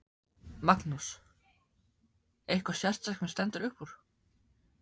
Magnús: Eitthvað sérstakt sem stendur upp úr?